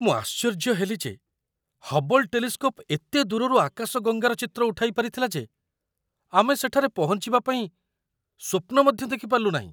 ମୁଁ ଆଶ୍ଚର୍ଯ୍ୟ ହେଲି ଯେ ହବ୍ବଲ୍ ଟେଲିସ୍କୋପ୍ ଏତେ ଦୂରରୁ ଆକାଶଗଙ୍ଗାର ଚିତ୍ର ଉଠାଇ ପାରିଥିଲା ଯେ ଆମେ ସେଠାରେ ପହଞ୍ଚିବା ପାଇଁ ସ୍ୱପ୍ନ ମଧ୍ୟ ଦେଖିପାରିଲୁ ନାହିଁ!